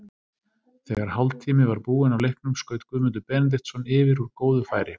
Þegar hálftími var búinn af leiknum skaut Guðmundur Benediktsson yfir úr góðu færi.